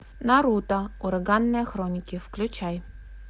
наруто ураганные хроники включай